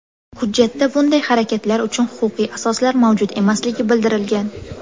Hujjatda bunday harakatlar uchun huquqiy asoslar mavjud emasligi bildirilgan.